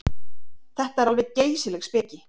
Þetta er alveg geysileg speki.